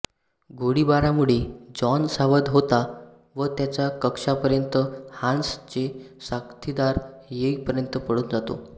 गोळीबारामुळे John सावध होतो व त्याच्या कक्षा पर्यंत हान्स चे साथिदार येइ पर्यंत पळुन जातो